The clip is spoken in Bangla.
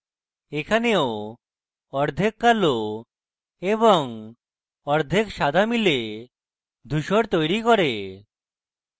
এখানেও অর্ধেক কালো এবং অর্ধেক সাদা মিলে ধুসর তৈরী করে